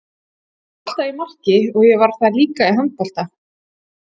Ég var alltaf í marki og ég var það líka í handbolta.